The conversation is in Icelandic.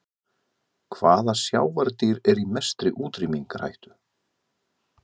Hvaða sjávardýr er í mestri útrýmingarhættu?